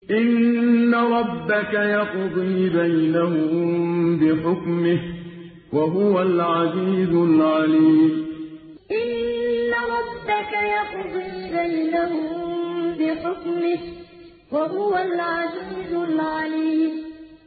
إِنَّ رَبَّكَ يَقْضِي بَيْنَهُم بِحُكْمِهِ ۚ وَهُوَ الْعَزِيزُ الْعَلِيمُ إِنَّ رَبَّكَ يَقْضِي بَيْنَهُم بِحُكْمِهِ ۚ وَهُوَ الْعَزِيزُ الْعَلِيمُ